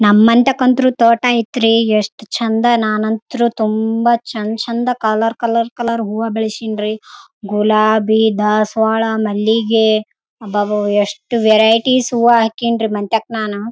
ಅವರು ಹೂವಗಳನ್ನ ಕಿತ್ತುಕೊಂಡು ಹೋಗ್ತಿವಿ ತೊಗೊಂಡ್ ಹೋಗ್ತಾರೆ ಜನಗಳು ಕಿತ್ಕೊಂಡು ಹೋಗ್ತಾರೆ ಕೇಳುತ್ತಾರೆ ನಮಗೂ ಕೊಡ್ರಿ ಅಂತ ನಾವು ಕಿತ್ತಿ ದೇವರಿಗೆ ಮೂಡಿಸ್ತಿವಿ ದೇವಸ್ಥಾನಕ್ಕೂ ಕೊಡ್ತೀವಿ.